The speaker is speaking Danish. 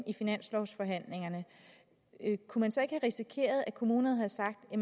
i finanslovsforhandlingerne kunne man så ikke have risikeret at kommunerne havde sagt